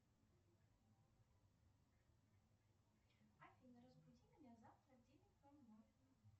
афина разбуди меня завтра в девять ноль ноль